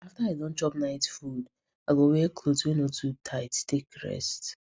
after i don chop night food i go wear cloth wey no too tight take rest